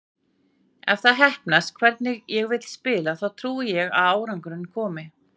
Ef það heppnast hvernig ég vil spila þá trúi ég að árangurinn komi.